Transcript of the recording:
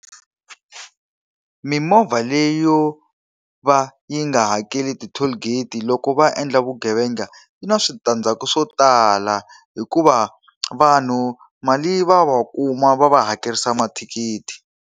Mimovha leyi yo va yi nga hakeli ti-toll gate-i loko va endla vugevenga yi na switandzhaku swo tala, hikuva vanhu mali va va kuma va va hakerisa mathikithi.